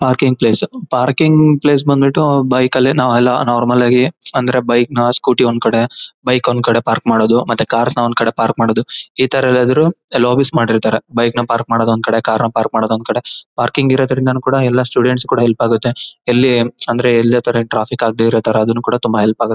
parking place parking place ಬಂದ್ಬಿಟ್ಟು bike ಅಲ್ಲೇ ನಾವು ಎಲ್ಲ ನಾರ್ಮಲ್ ಆಗಿ ಅಂದ್ರೆ ಬೈಕ್ ನ ಸ್ಕೂಟಿ ಒಂದ್ ಕಡೆ ಬೈಕ್ ಒಂದ್ ಕಡೆ ಪಾರ್ಕ್ ಮಾಡೋದು ಮತ್ತೆ ಕಾರ್ ನ ಒಂದ್ ಕಡೆ ಪಾರ್ಕ್ ಮಾಡೋದು ಇತರ ಎಲ್ಲದೂ ಲೋಭಿ ಮಾಡಿರ್ತ್ತಾರೆ ಬೈಕ್ ನ ಪಾರ್ಕ್ ಮಾಡೋದು ಒಂದು ಕಡೆ ಕಾರ್ ನ ಪಾರ್ಕ್ ಮಾಡೋದು ಒಂದು ಕಡೆ ಪಾರ್ಕಿಂಗ್ ಇರೋದರಿಂದ ಕೂಡ ಎಲ್ಲ ಸ್ಟೂಡೆಂಟ್ ಸ್ಗೆ ಹೆಲ್ಪ ಆಗುತ್ತೆ ಎಲ್ಲಿ ಎಲ್ಲಿ ಅತರ ಟ್ರಾಫಿಕ್ ಆಗ್ದೇ ಇರುತರ ಆದುನು ಕೂಡ ತುಂಬಾ ಹೆಲ್ಪ ಆಗು--